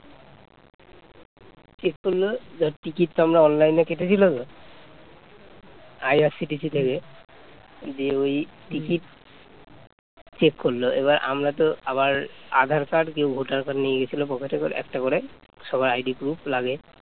check করলো, এবার আমরা তো আবার আধার কার্ড কেউ ভোটার কার্ড নিয়ে গিয়েছিল পকেটে করে একটা করে সবাই ID proof লাগে